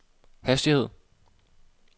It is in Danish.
hastighed